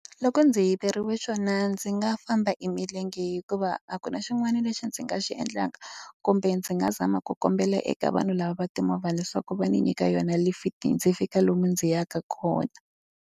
Loko ndzi yiveriwa xona ndzi nga famba hi milenge hikuva a ku na xin'wana lexi ndzi nga xi endlaka. Kumbe ndzi nga zama ku kombela eka vanhu lava va timovha leswaku va ndzi nyika yona lifiti ndzi fika lomu ndzi yaka kona.